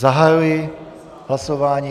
Zahajuji hlasování.